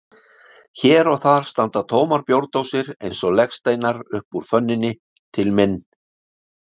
Hér og þar standa tómar bjórdósir eins og legsteinar upp úr fönninni, til minn